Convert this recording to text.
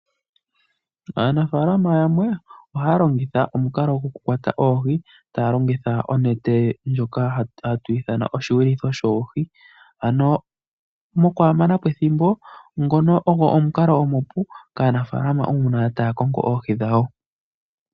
Aanafalama yamwe ohaya longitha omukalo gokukwata oohi taya longitha onete ndjoka hatu ithana oshiyulitho shoohi. Ano mokwaa mana po ethimbo ngono ogo omukalo omupu kaanafalama uuna taya kongo oohi dhawo.